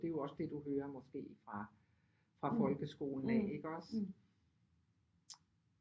Det er jo også det du hører måske fra fra folkeskolen af ikke også